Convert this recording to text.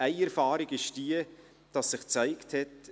Eine Erfahrung ist jene, dass sich gezeigt hat: